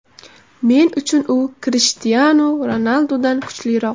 Men uchun u Krishtianu Ronaldudan kuchliroq.